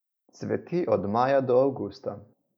Cveti od maja do avgusta.